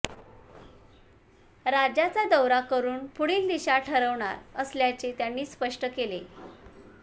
राज्याचा दौरा करून पुढील दिशा ठरवणार असल्याचे त्यांनी स्पष्ट केले